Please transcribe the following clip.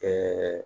Ɛɛ